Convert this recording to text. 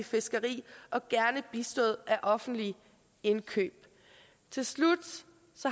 fiskeri og gerne bistået af offentlige indkøb til slut